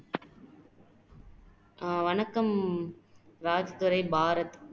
அஹ் வணக்கம் ராஜ்துரை பாரதி